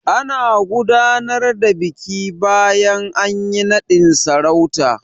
Ana gudanar da biki bayan anyi naɗin sarauta.